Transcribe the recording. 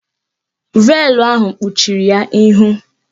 Veelụ ahụ kpuchiri ya ihu